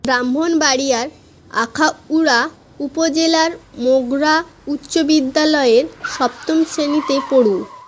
ব্রাহ্মণবাড়িয়ার আখাউড়া উপজেলার মোগড়া উচ্চ বিদ্যালয়ের সপ্তম শ্রেণিতে পড়ু